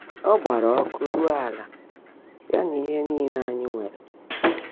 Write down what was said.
Ọ́ gbààrá ọ́kụ́ rúó álá, yá nà íhe níle ányị́ nwèrè.